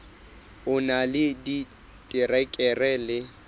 o na le diterekere le